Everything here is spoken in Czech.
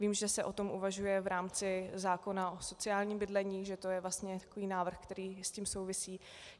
Vím, že se o tom uvažuje v rámci zákona o sociálním bydlení, že to je vlastně takový návrh, který s tím souvisí.